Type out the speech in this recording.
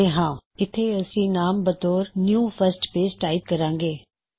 000525 000430 ਇੱਥੇ ਅਸੀ ਨਾਮ ਬਤੌਰ new first page new first page type ਕਰਾਂਗੇ